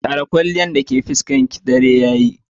Share kwalliyan dake fuskarki, dare yayi.